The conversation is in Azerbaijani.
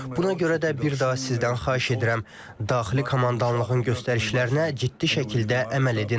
Buna görə də bir daha sizdən xahiş edirəm, daxili komandanlığın göstərişlərinə ciddi şəkildə əməl edin.